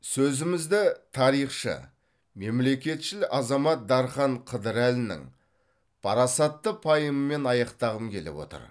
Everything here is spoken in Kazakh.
сөзімізді тарихшы мемлекетшіл азамат дархан қыдырәлінің парасатты пайымымен аяқтағым келіп отыр